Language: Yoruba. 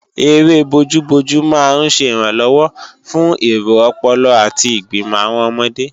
Eré bojú-bojú máa ń ṣẹ ìrànlọ́wọ́ fún èro ọpọlọ àti ìgbìmò àwọn ọmọdé